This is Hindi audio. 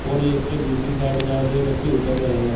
और इसके दूसरी साइड जहां से बच्चे उतर रहे हैं।